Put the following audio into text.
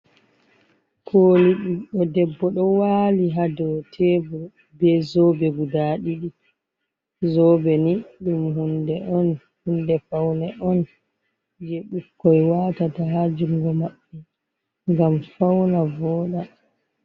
Koli ɓiɗɗo debbo do wali ha do tebur be zoɓe guda ɗiɗi, zoɓe ni ɗum hunde on hunde faune on je ɓikkoi watata ha jungo maɓɓe, ngam fauna voda.